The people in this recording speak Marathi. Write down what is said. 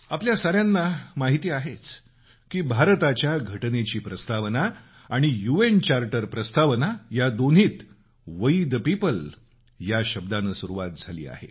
आपल्या सर्वांना माहिती आहेच की भारताच्या घटनेची प्रस्तावना आणि यूएन चार्टरची प्रस्तावना या दोन्हीत वुई द पिपल या शब्दांनी सुरु होते